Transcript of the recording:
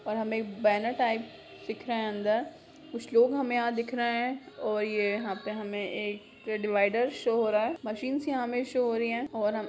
और हमे banner type दिख रहा है अंदर कुछ लोग हमे यहाँ दिख रहे हैं और ये यहाँ पे हमे एक डिवाइडर शो हो रहा हैं मशीन सी हमे शो हो रही है और हम